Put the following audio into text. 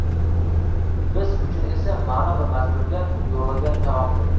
Biz uchun esa ma’no va mazmunga yo‘g‘rilgan taomdir.